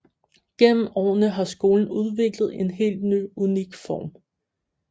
Gennem årene har skolen udviklet en helt unik form